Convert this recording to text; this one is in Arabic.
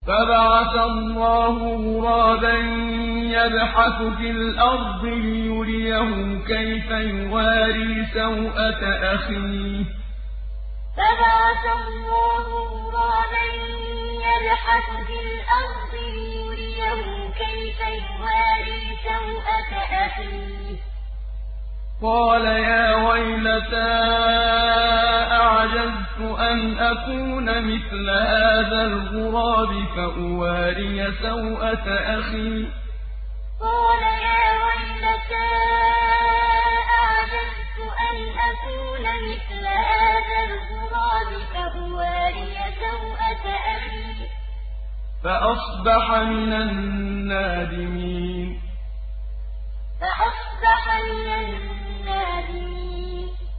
فَبَعَثَ اللَّهُ غُرَابًا يَبْحَثُ فِي الْأَرْضِ لِيُرِيَهُ كَيْفَ يُوَارِي سَوْءَةَ أَخِيهِ ۚ قَالَ يَا وَيْلَتَا أَعَجَزْتُ أَنْ أَكُونَ مِثْلَ هَٰذَا الْغُرَابِ فَأُوَارِيَ سَوْءَةَ أَخِي ۖ فَأَصْبَحَ مِنَ النَّادِمِينَ فَبَعَثَ اللَّهُ غُرَابًا يَبْحَثُ فِي الْأَرْضِ لِيُرِيَهُ كَيْفَ يُوَارِي سَوْءَةَ أَخِيهِ ۚ قَالَ يَا وَيْلَتَا أَعَجَزْتُ أَنْ أَكُونَ مِثْلَ هَٰذَا الْغُرَابِ فَأُوَارِيَ سَوْءَةَ أَخِي ۖ فَأَصْبَحَ مِنَ النَّادِمِينَ